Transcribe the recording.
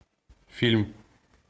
фильм